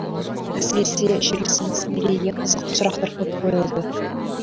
әсіресе жерлесіміз мерейге қызықты сұрақтар көп қойылды